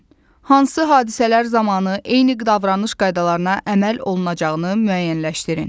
Hansı hadisələr zamanı eyni davranış qaydalarına əməl olunacağını müəyyənləşdirin.